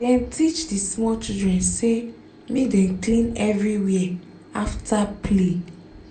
dem teach the small children say make dem clean everywhere after play